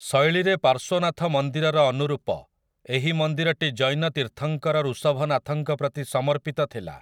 ଶୈଳୀରେ ପାର୍ଶ୍ୱନାଥ ମନ୍ଦିରର ଅନୁରୂପ, ଏହି ମନ୍ଦିରଟି ଜୈନ ତୀର୍ଥଙ୍କର ଋଷଭନାଥଙ୍କ ପ୍ରତି ସମର୍ପିତ ଥିଲା ।